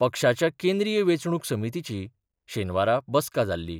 पक्षाच्या केंद्रीय वेंचणुक समितीची शेनवारा बसका जाल्ली.